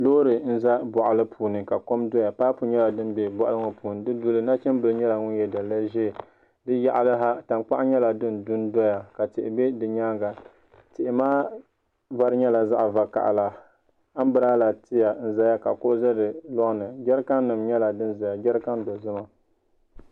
Loori n ʒɛ boɣali puuni ka kom doya paipu nyɛla din bɛ boɣali ŋo puuni di luɣuli ni nachimbili nyɛla ŋun yɛ daliya ʒiɛ di yaɣali ha tankpaɣu nyɛla din gbi n doya ka tihi bɛ di nyaanga tihi maa vari nyɛla zaɣ vakaɣala anbirala tiya n ʒɛya ka kuɣu ʒɛ di loŋni jɛrikan nim nyɛla din ʒɛya jɛrikan dozima